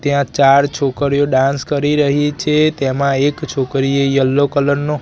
ત્યાં ચાર છોકરીઓ ડાન્સ કરી રહી છે તેમા એક છોકરીએ યેલો કલર નુ--